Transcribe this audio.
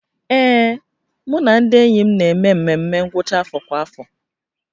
Ee, mụ na ndị enyi m na-eme ememme ngwụcha afọ kwa afọ